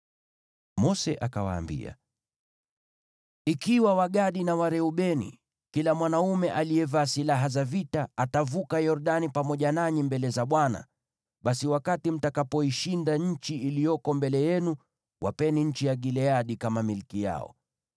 Mose akawaambia, “Ikiwa Wagadi na Wareubeni, kila mwanaume aliyevaa silaha za vita, atavuka Yordani pamoja nanyi mbele za Bwana , basi wakati mtakapoishinda nchi iliyoko mbele yenu, wapeni nchi ya Gileadi kama milki yao.